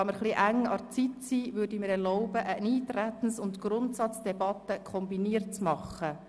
Da die Zeit eher knapp ist, würde ich mir erlauben, eine kombinierte Eintretens- und Grundsatzdebatte zu führen.